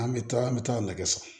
An bɛ taa an bɛ taa nɛgɛ siri